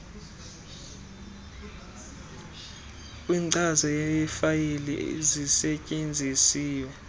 kwenkcazo yefayile zisetyenziswe